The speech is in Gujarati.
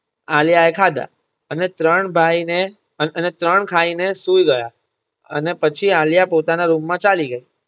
આલિયા એ ખાધા અને ત્રણ ભાઈ ને અને ત્રણ ખાઈ ને સૂઈ ગયા અને પછી આલિયા પોતાના રૂમ માં ચાલી ગઈ